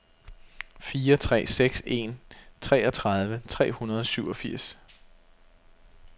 fire tre seks en treogtredive tre hundrede og syvogfirs